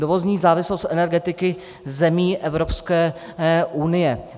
Dovozní závislost energetiky zemí Evropské unie.